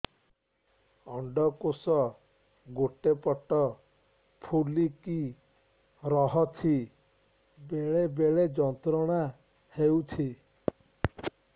ଅଣ୍ଡକୋଷ ଗୋଟେ ପଟ ଫୁଲିକି ରହଛି ବେଳେ ବେଳେ ଯନ୍ତ୍ରଣା ହେଉଛି